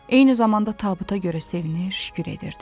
Eyni zamanda tabuta görə sevinir, şükür edirdi.